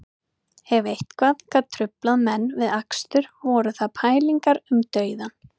Ef eitthvað gat truflað menn við akstur voru það pælingar um dauðann